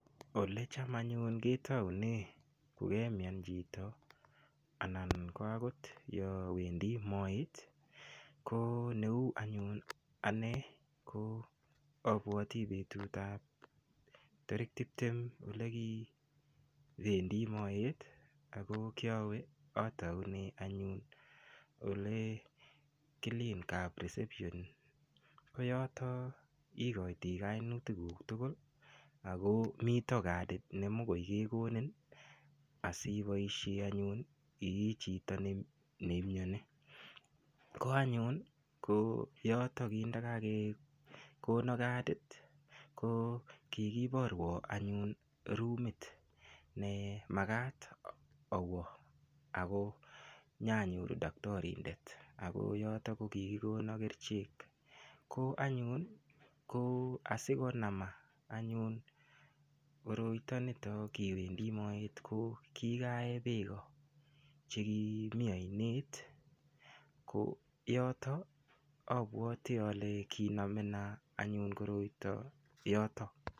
Ole cham ayun ketoune kokemyan chito anan ko akot yo wendi moet ko neu anyun ane ko abwoti betutab tarik tiptem ole kiwendi moet ako yawe ataune anyun ole kilin kap [reception ko yoto ikoiti kainutik kuk tugul ako mito kadid nemikoi kekonin asiboshe anyun ii chito neimyoni ko anyun yoto kindakakekono kadit ko kikiborwo anyun rumit nemakat awo ako nyanyoru daktorindet ako yoto ko kikikono kerichek ko anyun ko asikonama anyun koroito nito kibendi moet ko kikaee beko chekimi oinet ko yoto abwoti ale kinamena anyun koroito yoto